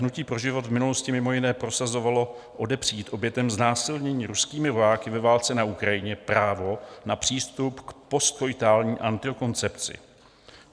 Hnutí pro život v minulosti mimo jiné prosazovalo odepřít obětem znásilnění ruskými vojáky ve válce na Ukrajině právo na přístup k postkoitální antikoncepci.